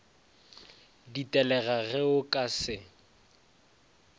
ditelega ge o ka se